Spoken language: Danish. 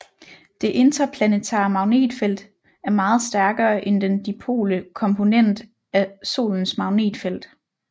Det interplanetare magnetfelt er meget stærkere end den dipole komponent af Solens magnetfelt